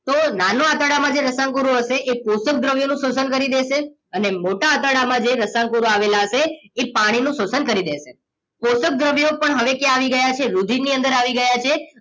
તો નાનું આંતરડામાં જેમ રસાંકો હશે એ પોષક દ્રવ્યોનું શોષણ કરી દેશે અને મોટા આંતરડામાં જે રસાંકો આવેલા છે એ પાણીનું શોષણ કરી દેશે પોષક દ્રવ્યો પણ હવે ક્યાં આવી ગયા છે રુધિર ની અંદર આવી ગયા છે